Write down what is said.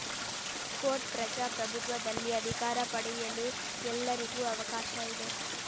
coat ಪ್ರಜಾಪ್ರಭುತ್ವದಲ್ಲಿ ಅಧಿಕಾರ ಪಡೆಯಲು ಎಲ್ಲರಿಗೂ ಅವಕಾಶ ಇದೆ